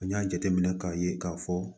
N y'a jateminɛ k'a ye k'a fɔ